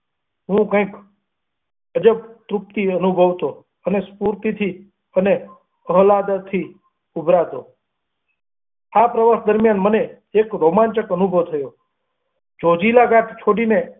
હું કંઈક અજા વૃષ્ણેિ અનુભવતો અને સ્ફૂર્તિથી અને માલાદથી ઊભરાતો, આ પ્રવાસ દરમિયાન મને એક રોમાંચક અનુભવ થયો ઝોજીલા ઘાટ છોડીને.